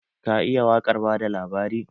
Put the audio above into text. Ka iya waƙar bada labari?